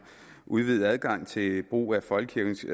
udvidet adgang til brug af folkekirkens